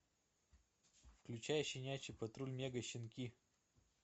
включай щенячий патруль мега щенки